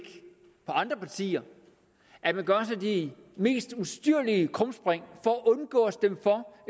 på andre partier at man gør sig de mest ustyrlige krumspring for at undgå at stemme